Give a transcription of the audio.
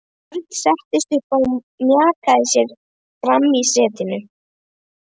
Björn settist upp og mjakaði sér fram í setinu.